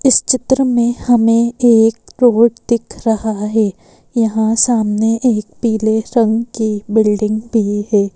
इस चित्र में हमें एक रोड दिख रहा है यहाँ सामने एक पीले रंग की बिल्डिंग भी है।